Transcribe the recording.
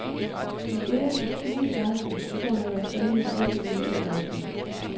Vi øgede til tyve seksten, og dermed var spændingen reelt sivet ud af matchen.